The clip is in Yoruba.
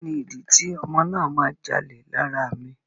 Kíni ìdí tí ọmọ náà a máa jalè lára mi.